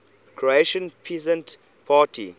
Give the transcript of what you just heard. croatian peasant party